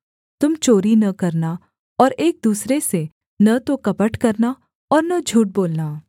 तुम चोरी न करना और एक दूसरे से न तो कपट करना और न झूठ बोलना